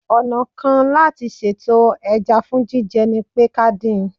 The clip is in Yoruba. Ọ̀nà kan láti sètò ẹja fún jíjẹ ni pé ká dín in